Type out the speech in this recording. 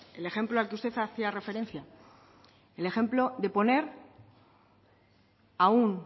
el ejemplo al que usted hacía referencia el ejemplo de poner a un